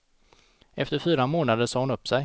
Efter fyra månader sa hon upp sig.